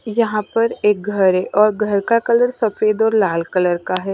यहां पर एक घर है और घर का कलर सफेद और लाल कलर का है।